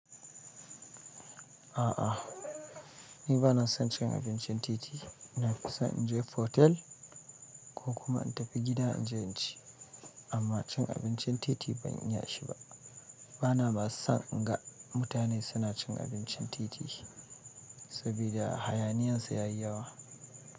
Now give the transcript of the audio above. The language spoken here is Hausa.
A'a ni banason cin abincin titi nafison inje otel ko kuma in tafi gida inje inci, amma cin abincin titi ban iya shi ba. Bama son inga mutane suna cin abincin titi, sabida hayaniyan su yayi yawa.